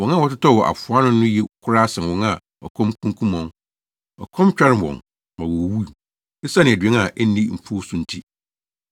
Wɔn a wɔtotɔɔ wɔ afoa ano no ye koraa sen wɔn a ɔkɔm kunkum wɔn; ɔkɔm tware wɔn ma wowuwu, esiane aduan a enni mfuw so nti.